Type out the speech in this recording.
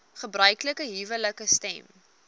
gebruiklike huwelike stem